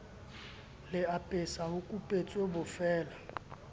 le apesa ho kupetswe bofeela